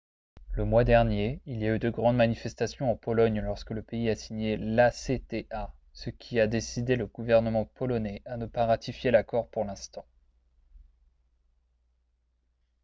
le mois dernier il y a eu de grandes manifestations en pologne lorsque le pays a signé l'acta ce qui a décidé le gouvernement polonais à ne pas ratifier l'accord pour l'instant